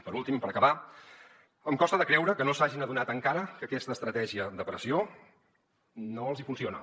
per últim i per acabar em costa de creure que no s’hagin adonat encara que aquesta estratègia de pressió no els hi funciona